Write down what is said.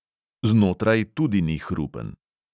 Znotraj tudi ni hrupen.